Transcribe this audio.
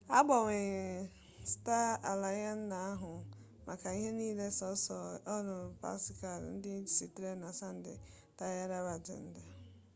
agbanyeghi sta alayans na-ahụ maka ihe niile belụ sọọsọ akụkụ ọwụwa anyanwụ pasifik ndịda site na santiago de chile ruo tahiti nke bụ njem ụgbọelu latam otuụwa